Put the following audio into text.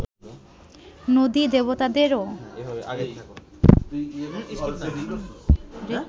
নদী-দেবতাদেরও